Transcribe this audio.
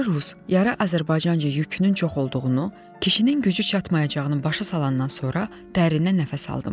Yarı rus, yarı Azərbaycanca yükünün çox olduğunu, kişinin gücü çatmayacağının başa salandan sonra dərindən nəfəs aldım.